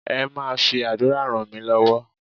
Ẹ máa fi àdúrà ràn mí lọ́wọ́